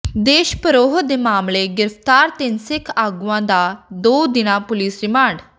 ਦੇਸ਼ ਧਰੋਹ ਦੇ ਮਾਮਲੇ ਗ੍ਰਿਫ਼ਤਾਰ ਤਿੰਨ ਸਿੱਖ ਆਗੂਆਂ ਦਾ ਦੋ ਦਿਨਾ ਪੁਲੀਸ ਰਿਮਾਂਡ